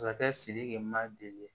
Masakɛ sidiki ma deli